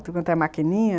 Tudo quanto é maquininha...